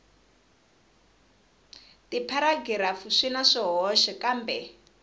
tipharagirafu swi na swihoxo kambe